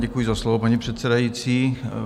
Děkuji za slovo, paní předsedající.